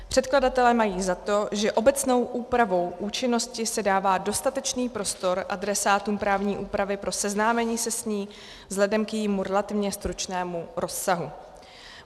Předkladatelé mají za to, že obecnou úpravou účinnosti se dává dostatečný prostor adresátům právní úpravy pro seznámení se s ní vzhledem k jejímu relativně stručnému rozsahu.